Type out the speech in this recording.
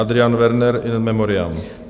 Adrian Werner, in memoriam.